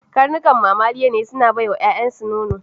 Karnuka mamaliya ne, suna bai wa yayansu nono.